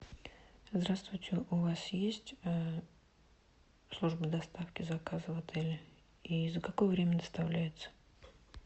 здравствуйте у вас есть служба доставки заказов в отеле и за какое время доставляется